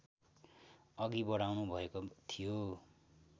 अघि बढाउनुभएको थियो